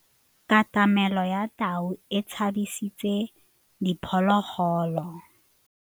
Katamêlô ya tau e tshabisitse diphôlôgôlô.